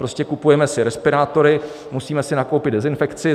Prostě kupujeme si respirátory, musíme si nakoupit dezinfekci.